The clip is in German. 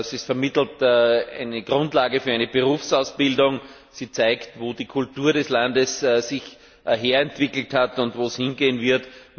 Sie vermittelt eine Grundlage für eine Berufsausbildung, sie zeigt, wo sich die Kultur des Landes her entwickelt hat und wo es hingehen wird.